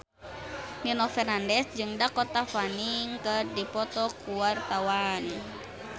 Nino Fernandez jeung Dakota Fanning keur dipoto ku wartawan